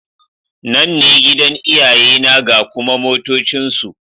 Nan ne gidan iyayena ga kuma motocinsu.